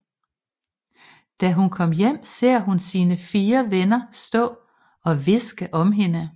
Da hun kommer hjem ser hun sine fire venner stå og hviske om hende